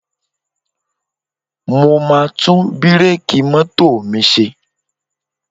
Mo máa tún bíréèkì mọ́tò mi ṣe